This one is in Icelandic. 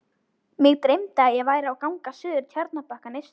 Mig dreymdi, að ég væri á gangi suður Tjarnarbakkann eystri.